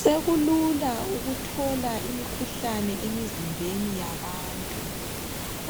Sekulula ukuthola imikhuhlane emizimbeni yabantu